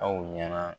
Aw ɲɛna